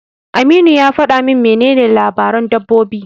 Aminu ya faɗa min menene labaran dabbobi.